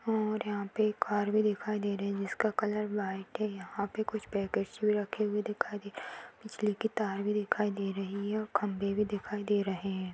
और यहाँ पे एक कार भी दिखाई दे रही है जिसका कलर व्हाइट है यहाँ पे कुछ पैकेट्स भी रखे हुए दिखाई दे रहे हैं बिजली के तार भी दिखाई दे रही है और खंबे भी दिखाई दे रहे हैं।